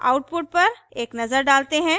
output पर एक नजर डालते हैं